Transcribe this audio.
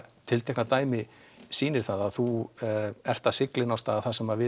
tiltekna dæmi sýnir að þú ert að sigla á stað þar sem við